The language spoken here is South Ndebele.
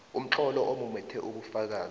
umtlolo omumethe ubufakazi